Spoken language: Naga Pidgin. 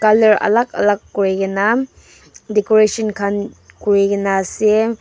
alak alak kuri kenika decoration khan kurina ase.